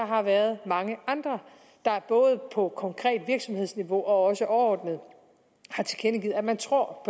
har været mange andre der både på konkret virksomhedsniveau og også overordnet har tilkendegivet at man tror